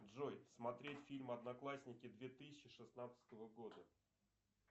джой смотреть фильм одноклассники две тысячи шестнадцатого года